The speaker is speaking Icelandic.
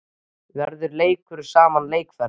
Verður leikinn sama leikaðferð?